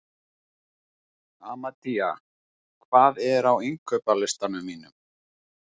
Amadea, hvað er á innkaupalistanum mínum?